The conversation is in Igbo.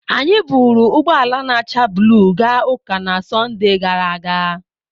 Anyị buuru ụgbọ ala na-acha blu gaa ụka na Sọnde gara aga.